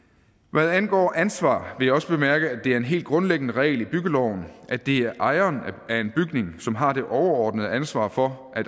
hvad angår ansvar vil jeg også bemærke at det er en helt grundlæggende regel i byggeloven at det er ejeren af en bygning som har det overordnede ansvar for